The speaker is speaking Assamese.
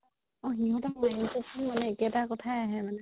অ সিহতৰ mind তো একেতা কথায়ে আহে মানে